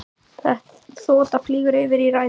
Þota flýgur yfir í ræðu forsætisráðherra.